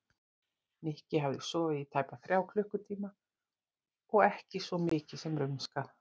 Nikki hafði sofið í tæpa þrjá klukkutíma og ekki svo mikið sem rumskað.